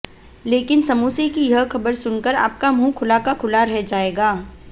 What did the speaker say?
लेकिन समोसे कि यह खबर सुनकर आपका मुँह खुला का खुला रह जाएगा